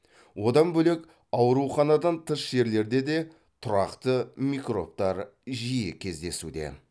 одан бөлек ауруханадан тыс жерлерде де тұрақты микробтар жиі кездесуде